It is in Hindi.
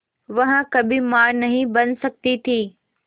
वह कभी मां नहीं बन सकती थी